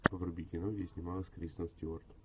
вруби кино где снималась кристен стюарт